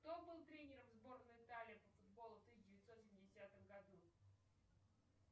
кто был тренером сборной италии по футболу в тысяча девятьсот семидесятом году